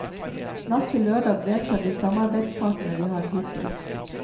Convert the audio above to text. Natt til lørdag deltar de samarbeidspartene vi har hittil.